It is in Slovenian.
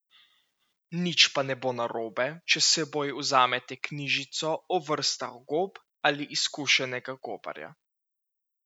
Nič pa ne bo narobe, če s seboj vzamete knjižico o vrstah gob ali izkušenega gobarja.